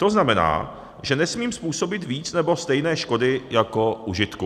To znamená, že nesmím způsobit víc nebo stejné škody jako užitku.